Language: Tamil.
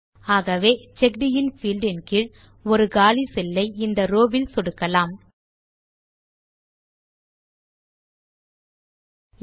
ஆகவே செக்கடின் பீல்ட் கீழ் ஒரு காலி செல் ஐ இந்த ரோவ் வில் சொடுக்குவோம்